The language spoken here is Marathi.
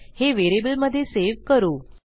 हे व्हेरिएबलमधे सेव्ह करू